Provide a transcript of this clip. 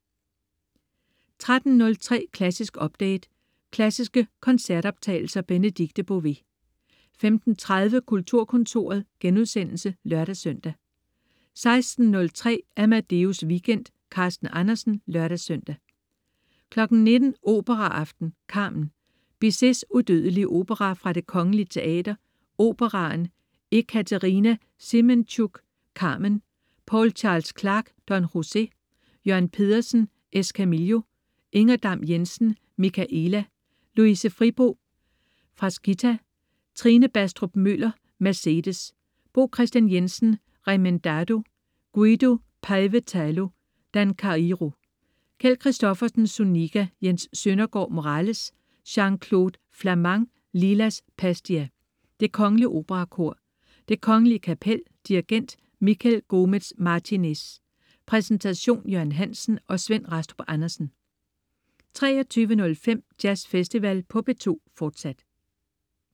13.03 Klassisk update. Klassiske koncertoptagelser. Benedikte Bové 15.30 Kulturkontoret* (lør-søn) 16.03 Amadeus Weekend. Carsten Andersen (lør-søn) 19.00 Operaaften. Carmen. Bizets udødelige opera fra Det kgl. Teater, Operaen. Ekaterina Semenchuk, Carmen. Paul Charles Clarke, Don José. Jørn Pedersen, Escamillo. Inger Dam- Jensen, Michaëla. Louise Fribo, Frasquita. Trine Bastrup Møller, Mercedes. Bo Kristian Jensen, Remendado. Guido Paevatalu, Dancairo. Kjeld Christoffersen, Zuniga. Jens Søndergaard, Morales. Jean-Claude Flamant, Lilas Pastia. Det kgl. Operakor. Det Kgl. Kapel. Dirigent: Miguel Gomez-Martinez. Præsentation: Jørgen Hansen og Svend Rastrup Andersen 23.05 Jazzfestival på P2, fortsat